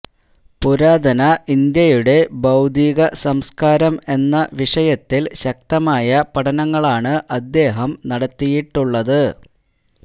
പുരാതന ഇന്ത്യയുടെ ഭൌതികസംസ്ക്കാരം എന്ന വിഷയത്തില് ശക്തമായ പഠനങ്ങളാണ് അദ്ദേഹം നടത്തിയിട്ടുള്ളത്